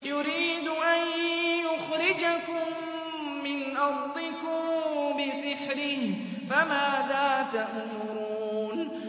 يُرِيدُ أَن يُخْرِجَكُم مِّنْ أَرْضِكُم بِسِحْرِهِ فَمَاذَا تَأْمُرُونَ